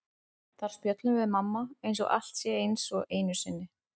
Þar spjöllum við mamma eins og allt sé eins og einu sinni.